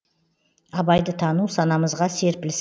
абайды тану санамызға серпіліс